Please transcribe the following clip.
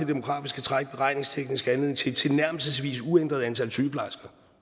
demografiske træk beregningsteknisk anledning til et tilnærmelsesvis uændret antal sygeplejersker